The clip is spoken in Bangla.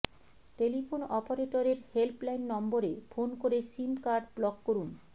টেলিফোন অপারেটরের হেল্পলাইন নম্বরে ফোন করে সিম কার্ড ব্লক করুন